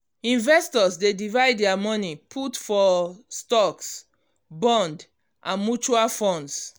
investors dey divide their money put for stocks bonds and mutual funds.